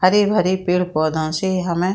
हरे-भरे पेड़-पौधाओ से हमें --